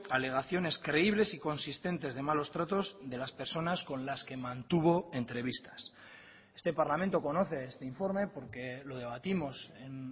alegaciones creíbles y consistentes de malos tratos de las personas con las que mantuvo entrevistas este parlamento conoce este informe porque lo debatimos en